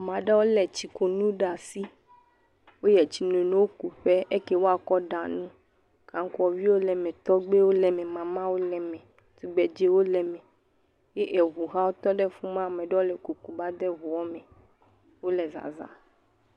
Ame aɖewo lé etsikunu ɖe asi. Woyiɛ tsinono ku ƒe, eyi ke woakɔ ɖa nu. Kaŋkuaviwo le eme, tɔgbewo le eme, mamawo le eme, tugbedzewo le eme. Ye eŋu hã wotɔ ɖe fi ma. Amaa ɖewo le kuku va de eŋuɔ me. Wole vava.